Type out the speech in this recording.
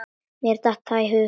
Mér datt það í hug!